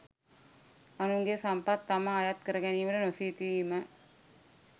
අනුන්ගේ සම්පත් තමා අයත් කරගැනීමට නොසිතීම